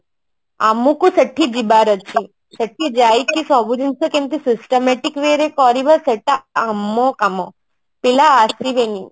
ଆମକୁ ସେଠି ଯିବାର ଅଛି ସେଠି ଯାଇକି ସବୁ ଜିନିଷ କେମିତି systematic way ରେ କରିବା ସେଟା ଆମ କାମ ପିଲା ଆସିବେନି